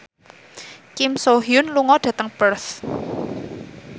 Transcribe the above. Kim So Hyun lunga dhateng Perth